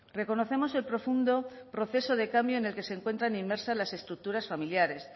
reconocemos el profundo proceso de cambio en el que se encuentran inmersas las estructuras familiares